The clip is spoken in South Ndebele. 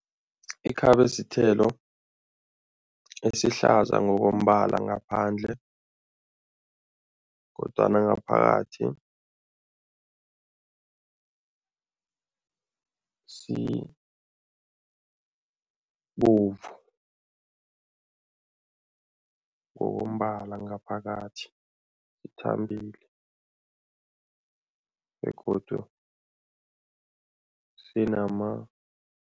Ikhabe sithelo esihlaza ngokombala ngaphandle kodwana ngaphakathi sibovu ngokombala ngaphakathi, sithambile begodu sinama